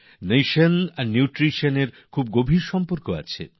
nation আর nutrition এর গভীর সম্পর্ক রয়েছে